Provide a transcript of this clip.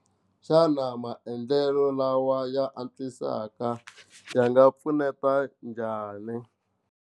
Xana maendlelo lawa ya antswisaka ya nga pfuneta njhani?